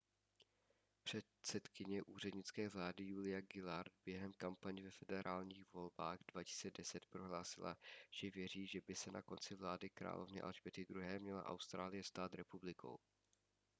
předsedkyně úřednické vlády julia gillard během kampaně ve federálních volbách 2010 prohlásila že věří že by se na konci vlády královny alžběty ii měla austrálie stát republikou